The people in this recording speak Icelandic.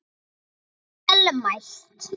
Vel mælt.